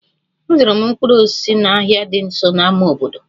Azụrụ m mkpụrụ osisi n'ahịa dị nso na ámá obodo